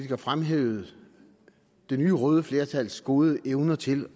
har fremhævet det nye røde flertals gode evner til